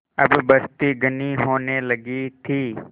अब बस्ती घनी होने लगी थी